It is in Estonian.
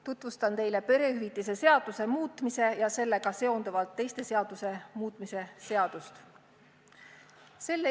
Tutvustan teile perehüvitiste seaduse muutmise ja sellega seonduvalt teiste seaduste muutmise seaduse eelnõu.